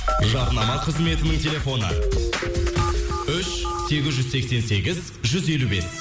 жарнама қызметінің телефоны үш сегіз жүз сексен сегіз жүз елу бес